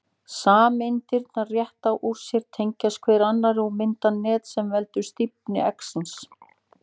Sameindirnar rétta úr sér, tengjast hver annarri og mynda net sem veldur stífni eggsins.